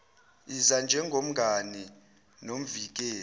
iza njengomngani nomvikeli